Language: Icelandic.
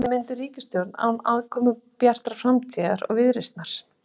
Verður mynduð ríkisstjórn án aðkomu Bjartrar framtíðar og Viðreisnar?